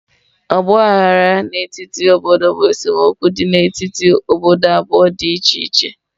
Ọgba aghara n'etiti obodo bụ esemokwu dị n'etiti obodo abụọ dị iche iche.